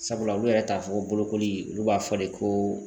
Sabula olu yɛrɛ t'a fɔ ko bolokoli olu b'a fɔ de ko